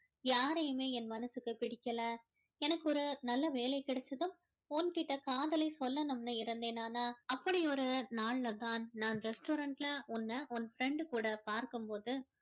யாரையுமே என் மனசுக்கு பிடிக்கல எனக்கு ஒரு நல்ல வேலை கிடைச்சதும் உன்கிட்ட காதலை சொல்லணும்னு இருந்தேன் ஆனா அப்படி ஒரு நாள்ல தான் தான் restaurant ல உன்ன உன் friend கூட பார்க்கும் போது